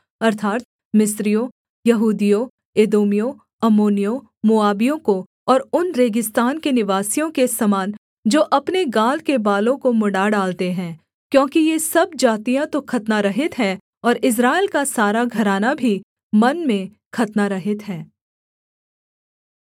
अर्थात् मिस्रियों यहूदियों एदोमियों अम्मोनियों मोआबियों को और उन रेगिस्तान के निवासियों के समान जो अपने गाल के बालों को मुँण्डा डालते हैं क्योंकि ये सब जातियाँ तो खतनारहित हैं और इस्राएल का सारा घराना भी मन में खतनारहित है